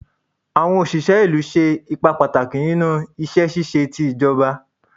Awọn oṣiṣẹ ilu ṣe ipa pataki ninu iṣẹ ṣiṣe ti ijọba